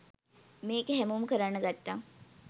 මේක හැමෝම කරන්න ගත්තා